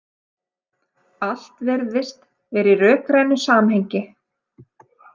Allt virðist vera í rökrænu samhengi.